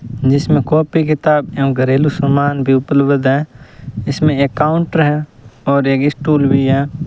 जिसमें कॉपी किताब एवं घरेलू सामान भी उपलब्ध है इसमें एक काउंटर है और एक स्टूल भी है।